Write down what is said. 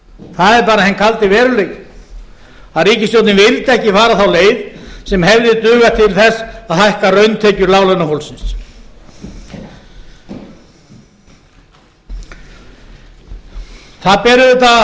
það er bara hinn kaldi veruleiki að ríkisstjórnin vildi ekki fara þá leið sem hefði dugað til þess að hækka rauntekjur láglaunafólksins það ber auðvitað að